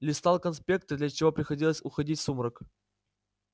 листал конспекты для чего приходилось уходить в сумрак